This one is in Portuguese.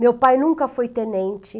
Meu pai nunca foi tenente.